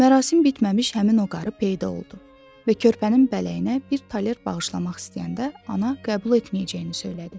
Mərasim bitməmiş həmin o qarı peyda oldu və körpənin bələyinə bir taler bağışlamaq istəyəndə ana qəbul etməyəcəyini söylədi.